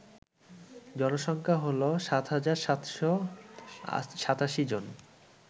জনসংখ্যা হল ৭৭৮৭ জন